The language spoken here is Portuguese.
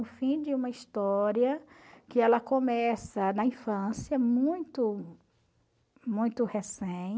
O fim de uma história que ela começa na infância, muito muito recém,